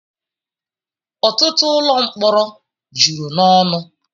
ọtụtụ ụlọ mkpọrọ juru n'ọnụ